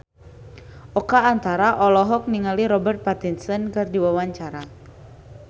Oka Antara olohok ningali Robert Pattinson keur diwawancara